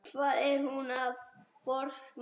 Hvað er hún að forsmá?